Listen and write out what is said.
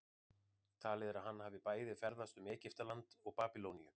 talið er að hann hafi bæði ferðast um egyptaland og babýloníu